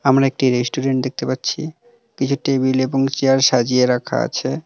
আমরা একটি রেস্টুরেন্ট দেখতে পাচ্ছি কিছু টেবিল এবং চেয়ার সাজিয়ে রাখা আছে।